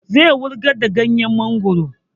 Zai wurgar da ganyen mongoro